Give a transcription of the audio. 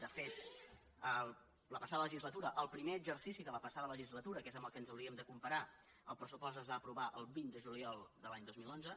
de fet la passada legislatura el primer exercici de la passada legislatura que és amb el que ens hauríem de comparar el pressupost es va aprovar el vint de juliol de l’any dos mil onze